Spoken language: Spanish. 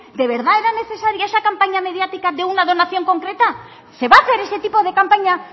de verdad era necesaria esa campaña mediática de una donación concreta se va a hacer ese tipo de campaña